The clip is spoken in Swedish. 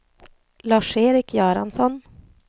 Lars-Erik Göransson